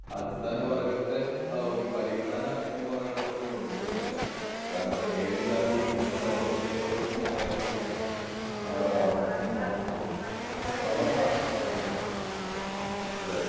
അടിസ്ഥാന വർഗത്തെ ആഹ് ഒരു പരിഗണന എന്ന് പറയിണ പോലാണ് കൊടുക്കുന്നില്ല. കാരണം മേൽജാതി മേല് ആഹ് ഒരു ഘടകം അല്ലെങ്കി ആഹ് ഈ ബ്രഹ്മണര് സാധാരണ ഹം. അതെ അതെ അതെ.